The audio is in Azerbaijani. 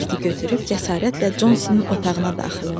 Molberti götürüb cəsarətlə Consinin otağına daxil oldu.